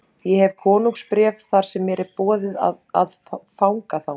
Ég hef konungsbréf þar sem mér er boðið að fanga þá.